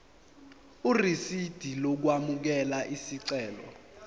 irisidi lokwamukela isicelo